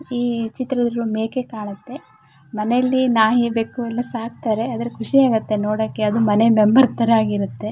ಈ ಚಿತ್ರದಲ್ಲಿ ಮೇಕೆ ಕಾಣುತ್ತೆ ಮನೆಲಿ ನಾಯಿ ಬೆಕ್ಕು ಎಲ್ಲಾ ಸಾಕತ್ತರೆ ಆದ್ರೆ ಖುಷಿ ಆಗುತ್ತೆ ನೋಡೊಕೆ ಅದು ಮನೆ ಮೆಂಬರ್ ತರ ಆಗಿರುತ್ತೆ.